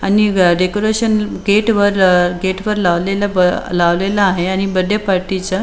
आणि decoration gate वर अह गेट वर लावलेल ब लावलेल आहे आणि बर्थ डे पार्टी च --